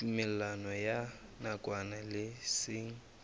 tumellano ya nakwana le seng